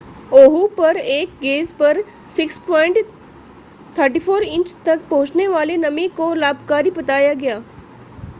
ओहू पर एक गेज पर 6.34 इंच तक पहुंचने वाली नमी को लाभकारी बताया गया